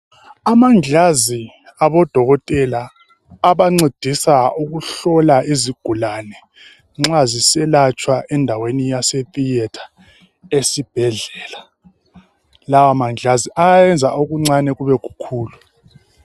Amangilazi abodokotela abancedisa ukuhlola izigulane nxa ziselatshwa endaweni yase"theatre" esibhedlela, lawa mangilazi ayayenza okuncane kube kukhulu .